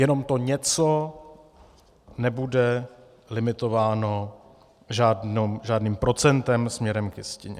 Jenom to něco nebude limitováno žádným procentem směrem k jistině.